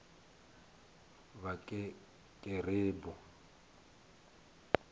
vhakerube